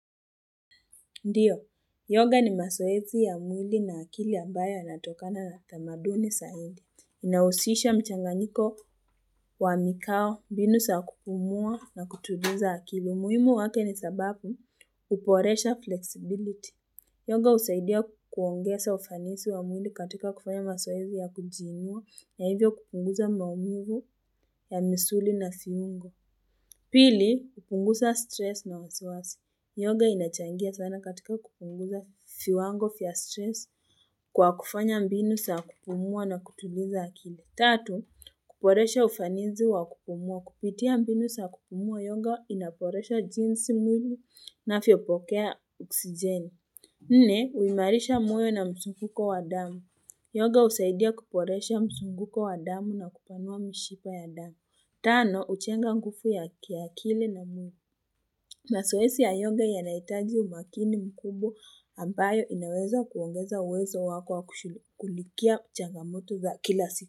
Ndio, yoga ni masoezi ya mwili na akili ambayo yanatokana na tamaduni saidi. Inausisha mchanganiko wa mikao, mbinu saa kupumua na kutuliza akili. Umuhimu wake ni sababu uporesha flexibility. Yoga husaidia kuongeza ufanisi wa mwili katika kufanya masoezi ya kujiinua na hivyo kupunguza maumivu ya misuli na fiungo. Pili, hupunguza stress na wasiwasi. Yoga inachangia sana katika kupunguza fiwango fya stress kwa kufanya mbinu saa kupumua na kutuliza akili. Tatu, kuporesha ufanizi wa kupumua. Kupitia mbinu saa kupumua, yoga inaporesha jinsi mwili inafyopokea oksijeni. Nne, uimarisha moyo na msunguko wa damu. Yoga usaidia kuporesha msunguko wa damu na kupanua mishipa ya damu. Tano, uchenga ngufu ya kiakili na mwili. Masoesi ya yonga yanahitaji umakini mkubwa ambayo inaweza kuongeza uwezo wako wa kushugilikia changamoto za kila siku.